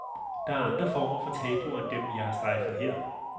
Der er andre former for tabuer end dem, jeg har strejfet her.